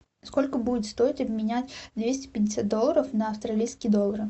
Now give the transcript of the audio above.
сколько будет стоить обменять двести пятьдесят долларов на австралийские доллары